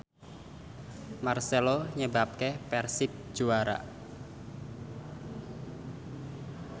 marcelo nyebabke Persib juara